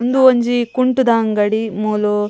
ಉಂದು ಒಂಜಿ ಕುಂಟುದ ಅಂಗಡಿ ಮೂಲು --